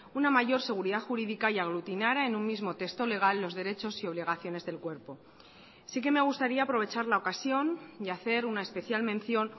una mayor seguridad jurídica y aglutinara en un mismo texto legal los derechos y obligaciones del cuerpo sí que me gustaría aprovechar la ocasión y hacer una especial mención